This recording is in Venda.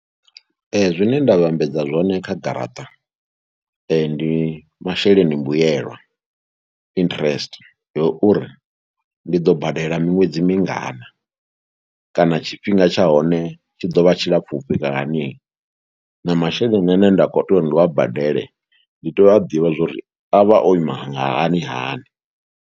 Zwine nda vhambedza zwone kha garaṱa ndi masheleni mbuyelwa, interest ya uri ndi ḓo badela miṅwedzi mingana kana tshifhinga tsha hone tshi ḓo vha tshilapfhi fhira hani na masheleni ane nda khou tea uri ndi wa badele ndi tea u a ḓivha zwo ri a vha o ima hani hani.